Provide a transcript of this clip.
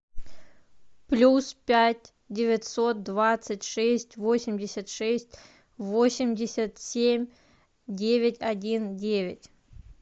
плюс пять девятьсот двадцать шесть восемьдесят шесть восемьдесят семь девять один девять